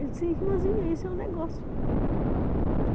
Ele dizia, irmãzinha, esse é o negócio.